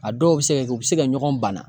A dɔw bɛ se ka kɛ u bɛ se ka ɲɔgɔn bana